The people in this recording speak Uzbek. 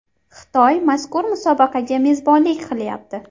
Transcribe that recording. Xitoy mazkur musobaqaga mezbonlik qilyapti.